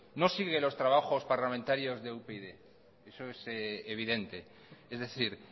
no sigue los trabajos parlamentarios de upyd eso es evidente es decir